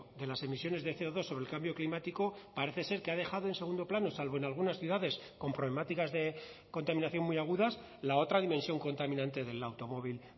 de las emisiones de ce o dos sobre el cambio climático parece ser que ha dejado en segundo plano salvo en algunas ciudades con problemáticas de contaminación muy agudas la otra dimensión contaminante del automóvil